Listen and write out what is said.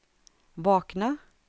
vakna